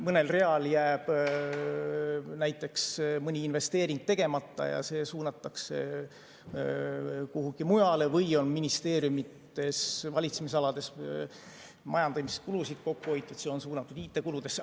Mõnel real jääb näiteks mõni investeering tegemata ja see suunatakse kuhugi mujale, või on ministeeriumide valitsemisalades majandamiskulusid kokku hoitud ja see on suunatud IT‑kuludesse.